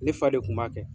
Ne fa de kun b'a kɛ